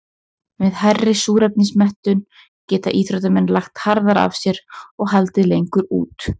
Með hærri súrefnismettun geta íþróttamenn lagt harðar að sér og haldið lengur út.